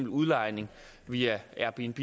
udlejning via airbnb